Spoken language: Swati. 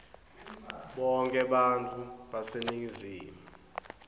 bonkhe bantfu baseningizimu